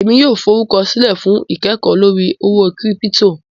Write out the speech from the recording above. ẹ̀mi yóò fọrúkọsilẹ̀ fún ikẹ́kọ̀ lórí owó kírípítò.